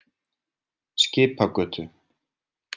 Skipagötu